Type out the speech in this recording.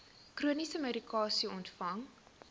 chroniese medikasie ontvang